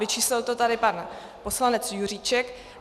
Vyčíslil to tady pan poslanec Juříček.